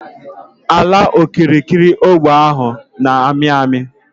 Ala okirikiri ógbè ahụ n'ami ami